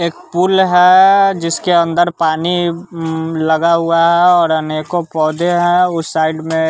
एक पूल है जिसके अंदर पानी उम्म लगा हुआ है और अनेकों पौधे हैं उस साइड में--